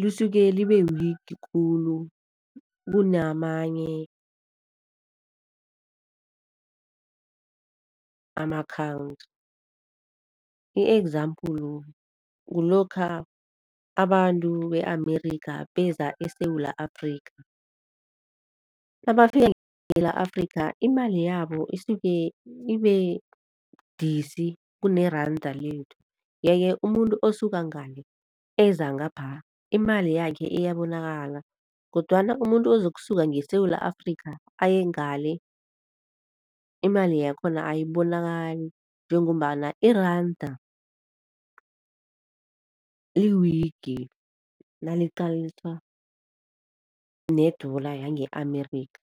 lisuke libe-weak khulu kunamanye ama-country. I-example kulokha abantu be-Amerika beza eSewula Afrika, nabafika Afrika imali yabo isuke ibebudisi kuneranda lethu, yeke umuntu osuke ngale eza ngapha imali yakhe iyabonakala. Kodwana umuntu ozokusuka ngeSewula Afrika aye ngale imali yakhona ayibonakali njengombana iranda li-weak naliqathaniswa ne-dollar yange-Amerika.